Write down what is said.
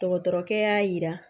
Dɔgɔtɔrɔkɛ y'a yira